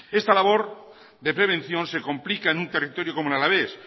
esa labor de prevención se complica en un territorio como el alavés